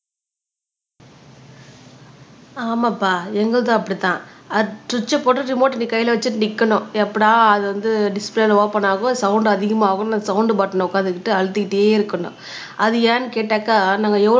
ஆமாப்பா எங்களுதும் அப்படித்தான் அது சுவிட்ச போட்டு ரிமோட நீ கையில வச்சுட்டு நிக்கணும் எப்படா அது வந்து டிஸ்பிலேல ஓபன் ஆகும் சவுண்ட் அதிகமாகும் சவுண்ட் பட்டின உட்கார்ந்துகிட்டு அழுதுகிட்டே இருக்கணும் அது ஏன்னு கேட்டாக்கா